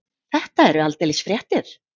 Þetta eru aldeilis fréttir.